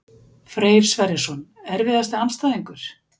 Freyr Sverrisson Erfiðasti andstæðingur?